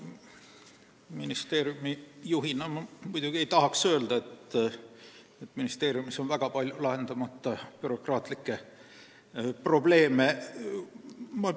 Ministeeriumi juhina ma muidugi ei tahaks öelda, et meil on väga palju lahendamata bürokraatlikke probleeme.